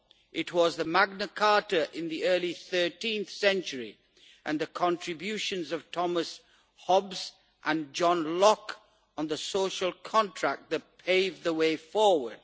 It was the Magna Carta, in the early 13th Century, and the contributions of Thomas Hobbes and John Locke on the social contract, that paved the way forward.